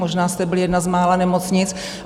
Možná jste byli jedna z mála nemocnic.